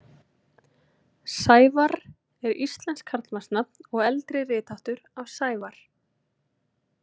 Sævarr er íslenskt karlmannsnafn og eldri ritháttur af Sævar.